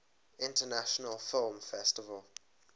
international film festival